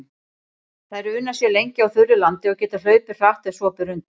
Þær una sér lengi á þurru landi og geta hlaupið hratt ef svo ber undir.